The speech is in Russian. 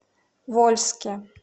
вольске